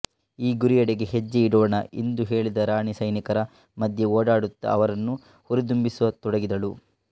ಈ ಗುರಿಯೆಡೆಗೆ ಹೆಜ್ಜೆ ಇಡೋಣ ಇಂದು ಹೇಳಿದ ರಾಣಿ ಸೈನಿಕರ ಮಧ್ಯೆ ಓಡಾಡುತ್ತಾ ಅವರನ್ನು ಹುರಿದುಂಬಿಸ ತೊಡಗಿದಳು